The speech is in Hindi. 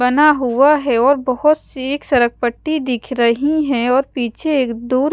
बना हुआ है और बहुत सी एक सड़क पट्टी दिख रही है और पीछे एक दूर--